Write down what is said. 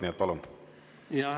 Nii et palun!